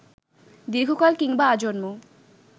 দীর্ঘকাল কিংবা আজন্ম